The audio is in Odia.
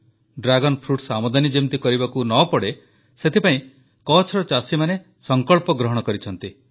ଡ୍ରାଗନ୍ ଫ୍ରୁଟସ୍ ଆମଦାନୀ ଯେମିତି କରିବାକୁ ନ ପଡ଼େ ସେଥିପାଇଁ କଚ୍ଛର ଚାଷୀମାନେ ସଂକଳ୍ପ ଗ୍ରହଣ କରିଛନ୍ତି